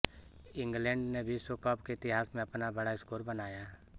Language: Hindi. इंग्लैंड ने विश्व कप के इतिहास में अपना बड़ा स्कोर बनाया